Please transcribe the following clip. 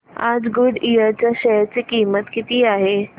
आज गुडइयर च्या शेअर ची किंमत किती आहे